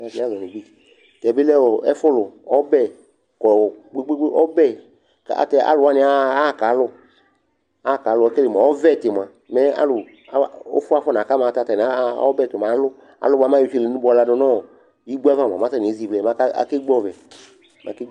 Tɛ bɩ lɛ ɛfʋlʋ, ɔbɛ kɔ kpe-kpe-kpe, ɔbɛ kʋ atɛ alʋ wanɩ aɣa aɣa kalʋ, aɣa kalʋ Ekele mʋa, ɔvɛtɩ mʋa, alʋ a ʋfʋ afɔna ka ma, ayɛlʋtɛ aɣa ɔbɛ tʋ mɛ alʋ Alʋ bʋa mɛ ayɔ itselenu ba yɔ ladʋ nʋ ɔ igbo ava mʋa, mɛ atanɩ ezivlɛ mɛ aka akegbǝ ɔvɛ, mɛ akegb